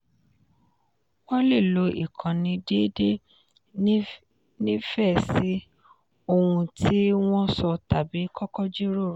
wọ́n lè lo ìkànnì déédéé nífẹ̀ẹ́ sí ohun tí wọ́n sọ tàbí kókó jíròrò.